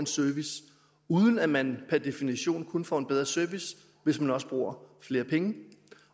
service uden at man per definition kun får en bedre service hvis man også bruger flere penge